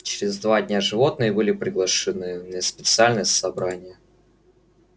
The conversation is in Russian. через два дня животные были приглашены на специальное собрание